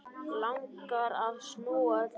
Langar að snúa öllu við.